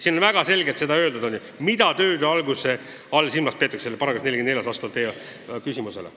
Siin on väga selgelt öeldud, mida tööde alguse all silmas peetakse.